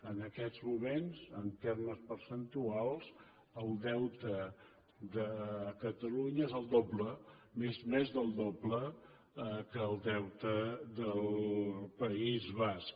en aquests moments en termes percentuals el deute de catalunya és el doble més del doble que el deute del país basc